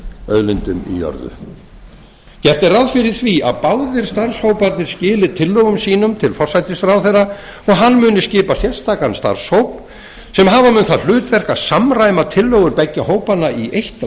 auðlindum í jörðu gert er ráð fyrir því að báðir starfshóparnir skili tillögum sínum til forsætisráðherra og hann muni skipa sérstakan starfshóp sem hafa mun það hlutverk að samræma tillögur beggja hópanna í eitt